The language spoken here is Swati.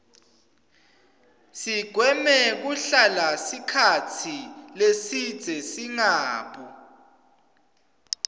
sigweme kuhlala sikhatsi lesibze singabu